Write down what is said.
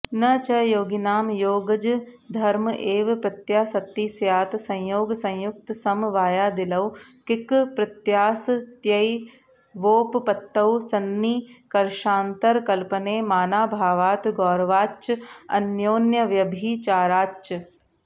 न च योगिनां योगजधर्म एव प्रत्यासत्तिः स्यात् संयोगसंयुक्तसमवायादिलौकिकप्रत्यासत्त्यैवोपपत्तौ सन्निकर्षान्तरकल्पने मानाभावात् गौरवाच्च अन्योन्यव्यभिचाराच्च